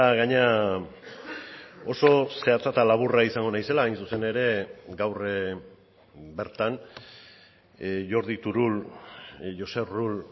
gainera oso zehatza eta laburra izango naizela hain zuzen ere gaur bertan jordi turull josep rull